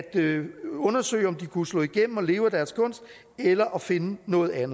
undersøge om de kunne slå igennem og leve af deres kunst eller at finde noget andet